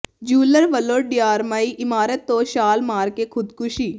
jeweller ਵੱਲੋਂ DRI ਇਮਾਰਤ ਤੋਂ ਛਾਲ ਮਾਰ ਕੇ ਖ਼ੁਦਕੁਸ਼ੀ